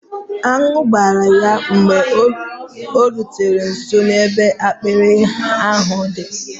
Añụ gbara ya mgbe o rutere nso ebe apịary ahụ di